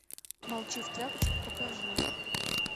молчи в тряпочку покажи